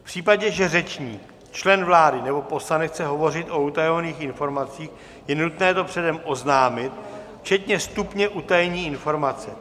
V případě, že řečník, člen vlády nebo poslanec chce hovořit o utajovaných informacích, je nutné to předem oznámit, včetně stupně utajení informace.